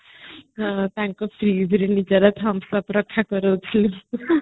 ତାଙ୍କ fridgeରେ ନିଜର thumbs up ରକ୍ଷା କରୁଥିଲୁ